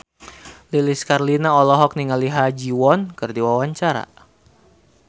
Lilis Karlina olohok ningali Ha Ji Won keur diwawancara